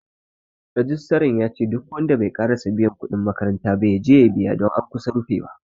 Rijistran yace duk wanda bai ƙarasa biyan kuɗin makaranta ba, yaje ya biya don an kusa rufewa.